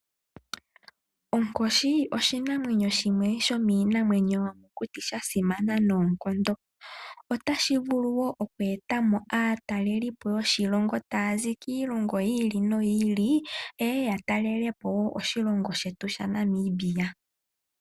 Onkoshi oshinamwenyo shimwe shomiinamwenyo sha simana noonkondo. Otashivulu woo okweetamo aatalelipo yoshilongo taazi kiilongo yiili noyiili yeye yatalelepo woo oshilongo shetu sha Namibia.